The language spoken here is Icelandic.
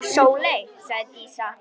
Sóley, sagði Dísa.